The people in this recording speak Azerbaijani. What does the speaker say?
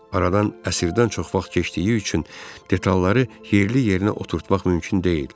Aradan əsrdən çox vaxt keçdiyi üçün detalları yerli-yerinə oturtmaq mümkün deyil.